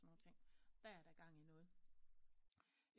Og sådan nogle ting er der gang i noget